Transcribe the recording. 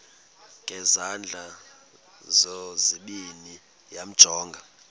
ngezandla zozibini yamjonga